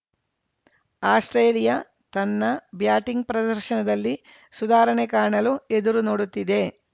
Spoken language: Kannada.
ಆಸ್ಪ್ರೇಲಿಯಾ ತನ್ನ ಬ್ಯಾಟಿಂಗ್‌ ಪ್ರದರ್ಶನದಲ್ಲಿ ಸುಧಾರಣೆ ಕಾಣಲು ಎದುರು ನೋಡುತ್ತಿದೆ